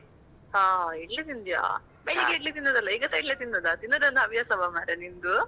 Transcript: ಹಾ, ಇಡ್ಲಿ ತಿಂದ್ಯಾ? ಬೆಳಿಗ್ಗೆಸ ಇಡ್ಲಿ ತಿಂದದ್ದಲ್ಲಾ ಈಗಾಸಾ ಇಡ್ಲಿ ತಿಂದದ್ದ, ತಿನ್ನೋದೇ ಒಂದು ಹವ್ಯಾಸವಾ ಮಾರ್ರೆ ನಿಂದು.